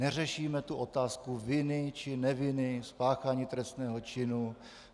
Neřešíme tu otázku viny či neviny, spáchání trestného činu.